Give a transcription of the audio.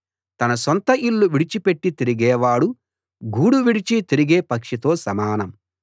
తన సొంత ఇల్లు విడిచిపెట్టి తిరిగేవాడు గూడు విడిచి తిరిగే పక్షితో సమానం